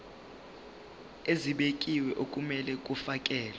ezibekiwe okumele kufakelwe